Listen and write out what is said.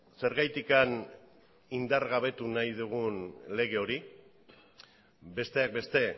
zergatik indargabetu nahi dugun lege hori besteak beste